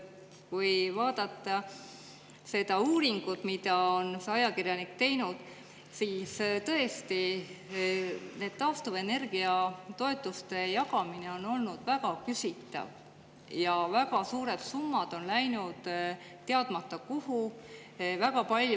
Kui vaadata seda uuringut, mille on see ajakirjanik teinud, siis tõesti, et taastuvenergia toetuste jagamine on olnud väga küsitav ja väga suured summad on läinud teadmata kohta.